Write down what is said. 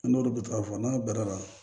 N'olu bɛ ta fɔ n'a bara la